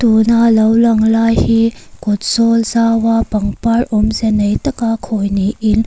tuna lo lang lai hi kawt zawl zau a pangpar awmze nei taka khawi niin --